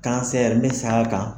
ne saa kan